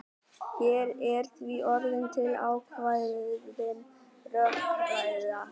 Hér er því orðin til ákveðin rökræða.